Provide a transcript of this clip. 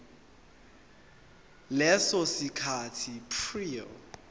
leso sikhathi prior